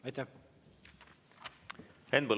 Aitäh!